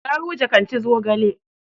Garuje kan ci zogale.